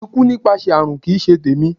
Ikú nípasẹ̀ àrùn kì í ṣe tèmi.